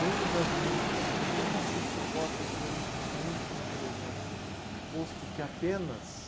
Reino das musas, por que não se suporta sua in, sua ínfima presença, posto que apenas...